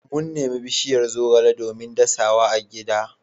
Mun nemi bishiyar zogale domin dasa wa agida.